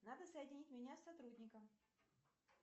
надо соединить меня с сотрудником